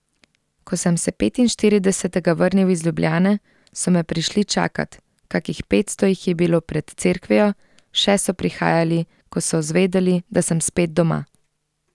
Ko sem se petinštiridesetega vrnil iz Ljubljane, so me prišli čakat, kakih petsto jih je bilo pred cerkvijo, še so prihajali, ko so zvedeli, da sem spet doma.